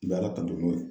Baara kanu n'o ye